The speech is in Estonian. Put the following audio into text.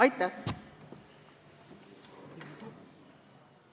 Aitäh!